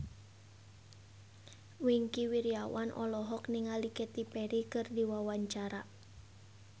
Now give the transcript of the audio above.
Wingky Wiryawan olohok ningali Katy Perry keur diwawancara